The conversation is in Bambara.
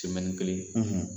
Sɛmɛni kelen